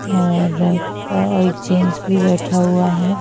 और एक जेंट्स भी बैठा हुआ है।